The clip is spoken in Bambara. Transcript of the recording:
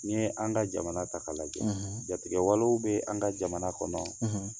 Ni ye an ka jamana ta k'a lajɛjɛ, jatigɛwale bɛ an ka jamana kɔnɔ